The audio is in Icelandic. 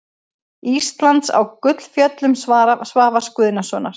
Íslands á Gullfjöllum Svavars Guðnasonar.